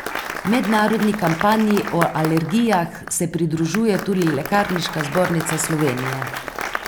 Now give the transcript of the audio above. Mednarodni kampanji o alergijah se pridružuje tudi Lekarniška zbornica Slovenije.